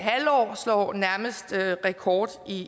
halvår slår nærmest rekord